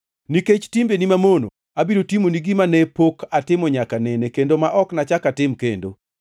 Nikech timbeni mamono, abiro timoni gima ne pok atimo nyaka nene kendo ma ok nachak atim kendo.